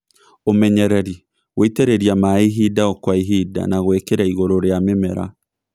Ũmenyereri - gũitĩrĩria maĩ ihinda o kwa ihinda na gwĩkĩra igũrũ rĩa mĩmera